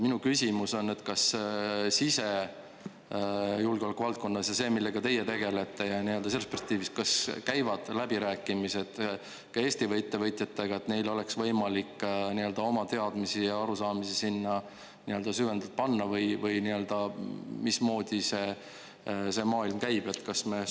Minu küsimus on, kas sisejulgeoleku valdkonnas ja selles, millega teie tegelete, selles perspektiivis, kas käivad läbirääkimised ka Eesti ettevõtjatega, et neil oleks võimalik oma teadmisi ja arusaamisi sinna süvendatult panna või mismoodi see maailm käib?